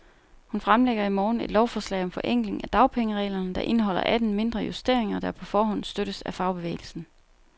Hun fremlægger i morgen et lovforslag om forenkling af dagpengereglerne, der indeholder atten mindre justeringer, der på forhånd støttes af fagbevægelsen.